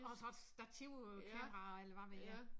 Og så et stativ øh kamera eller hvad ved jeg